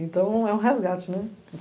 Então é um resgate, né.